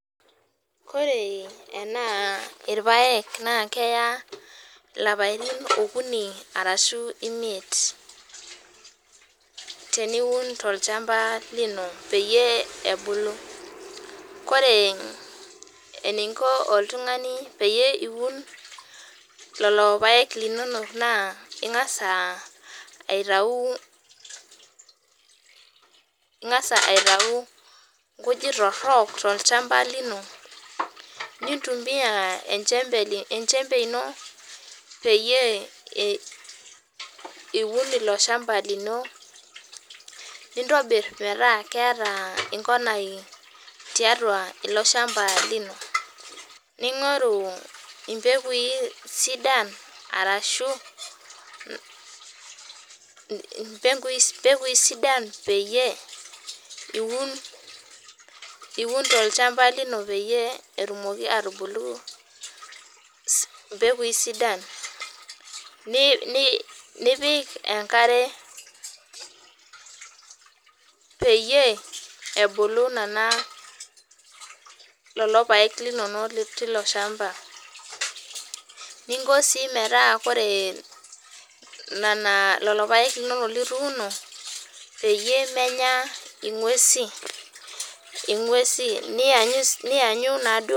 Koree enaa irpaek naa keya ilapatin okuni arashu imiet teniun tolchamba lino peyie ebulu. Kore eniinko oltungani peyie iiun lelo irpaek linono naa ingas aitau, ingas aitau inkujit torrok tolchamba lino nintumiya enchembe ino peyie iun ilo ilchamba lino nintobirr metaa keeta inkonai tiatua ilo ilchamba lino, ning'oru impekui sidan arashu impekui sidan peyie iuun tolchamba lino peyie etumoki atubulu impekui sidan, nipik enkare peyie ebulu nenw, lelo irpaek linono lotii inashamba, ninko sii metaa koree nena ,lelo irpaek linono lituuno peyie emenya inguesi, nianyu naaduo.